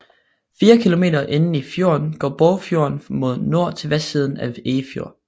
Fire kilometer inde i fjorden går Bogsfjorden mod nord til vestsiden af Erfjord